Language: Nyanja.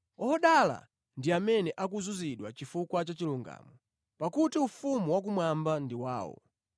Odala ndi amene akuzunzidwa chifukwa cha chilungamo, pakuti ufumu wakumwamba ndi wawo.”